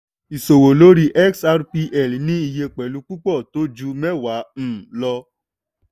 ìṣòwò lórí xrpl ní iye pẹ̀lú púpọ̀ tó ju mẹ́wàá um lọ.